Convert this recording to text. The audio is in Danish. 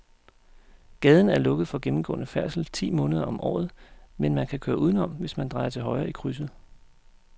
Gaden er lukket for gennemgående færdsel ti måneder om året, men man kan køre udenom, hvis man drejer til højre i krydset.